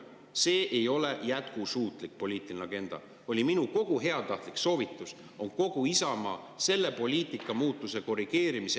See ei ole jätkusuutlik poliitika – see oli minu kogu heatahtlik ka Isamaa ettepanek selle poliitika muutuse korrigeerimiseks.